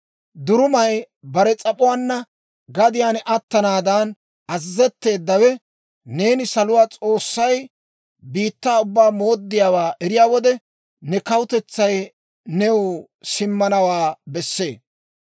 «Durumay bare s'ap'uwaanna gadiyaan attanaada azazetteeddawe, neeni saluwaa S'oossay biittaa ubbaa mooddiyaawaa eriyaa wode, ne kawutetsay new simmanawaa besse.